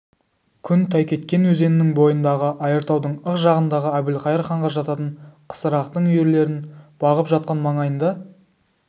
күн тайкеткен өзенінің бойындағы айыртаудың ық жағындағы әбілқайыр ханға жататын қысырақтың үйірлерін бағып жатқан маңайында